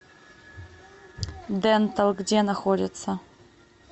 дентал где находится